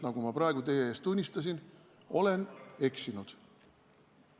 Nagu ma praegu teie ees tunnistasin, olen eksinud.